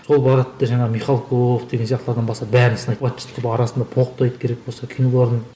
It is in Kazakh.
сол барады да жаңағы михалков деген сияқтылардан бастап бәрін сынайды арасында боқтайды керек болса киноларын